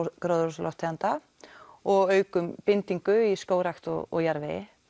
gróðurhúsalofttegunda og aukum bindingu í skógrækt og jarðvegi